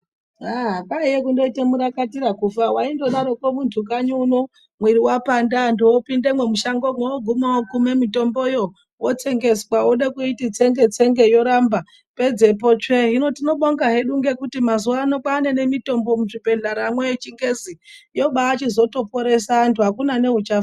Ah! kwaiye kundoite murakatira kufa waindodarroko muntu kanyi uno mwiri wapanda antu opindemwo mushangomwo oguma okume mitomboyo wotsengeswa, wode kuiti tsenge-tsenge yoramba pedzepo tsve, hino tinobonga hedu ngekuti mazuano kwaane mitombo muzvibhehleya mwo yechingezi yobaa yachizotoporese antu akuna neuchafa.